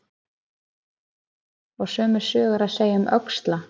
Og sömu sögu er að segja um öxla.